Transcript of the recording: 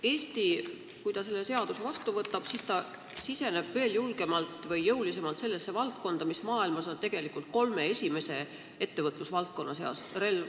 Eesti, kui ta selle seaduse vastu võtab, siseneb veel julgemalt või jõulisemalt sellesse valdkonda, mis on maailmas kolme esimese ettevõtlusvaldkonna seas.